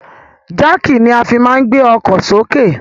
Jáàkì ni a fi máa ń gbé ọkọ sì òkè.